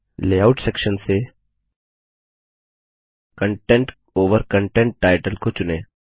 layout section से content over content title को चुनें